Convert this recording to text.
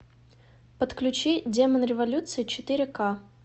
подключи демон революции четыре ка